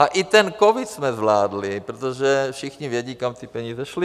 A i ten covid jsme zvládli, protože všichni vědí, kam ty peníze šly.